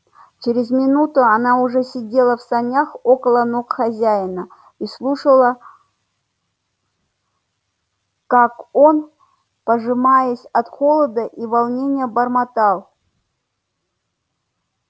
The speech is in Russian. через минуту она уже сидела в санях около ног хозяина и слушала как он пожимаясь от холода и волнения бормотал